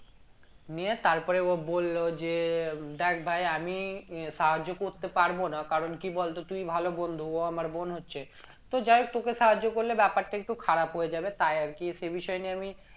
নিয়ে তারপরে ও বললো যে দেখ ভাই আমি সাহায্য করতে পারবো না কারণ কি বলতো তুই ভালো বন্ধু ও আমার বোন হচ্ছে তো যাই হোক তোকে সাহায্য করলে ব্যাপারটা একটু খারাপ হয়ে যাবে তাই আরকি সেই বিষয় নিয়ে আমি